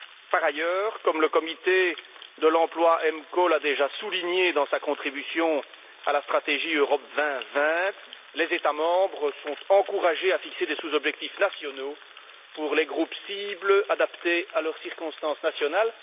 Par ailleurs, comme le comité de l'emploi EMCO l'a déjà souligné dans sa contribution à la stratégie Europe 2020, les États membres sont encouragés à fixer des sous objectifs nationaux pour les groupes cibles adaptés à leurs circonstances nationales.